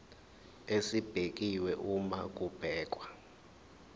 esibekiwe uma kubhekwa